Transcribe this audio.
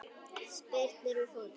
Spyrnir við fótum.